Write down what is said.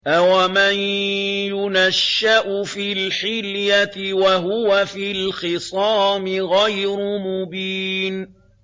أَوَمَن يُنَشَّأُ فِي الْحِلْيَةِ وَهُوَ فِي الْخِصَامِ غَيْرُ مُبِينٍ